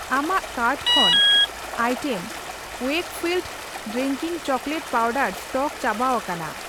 ᱟᱢᱟᱜ ᱠᱟᱨᱴ ᱠᱷᱚᱱ item Wakefield drinking chocolate powder stock ᱪᱟᱵᱟᱣᱟᱠᱟᱱᱟ ᱾